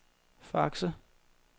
Fakse